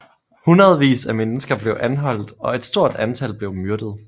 Hundredvis af mennesker blev anholdt og et stort antal blev myrdet